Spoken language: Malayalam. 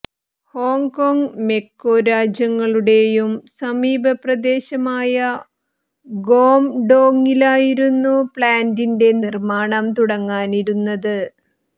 ഹോംകോങ് മെക്കോ രാജ്യങ്ങളുടേയും സമീപ പ്രദേശമായ ഗോംഡോങ്ങിലായിരുന്നു പ്ലാന്റിന്റെ നിര്മാണം തുടങ്ങാനിരുന്നത്